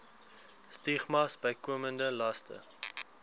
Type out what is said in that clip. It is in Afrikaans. stigmas bykomende laste